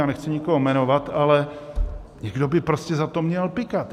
Já nechci nikoho jmenovat, ale někdo by prostě za to měl pykat.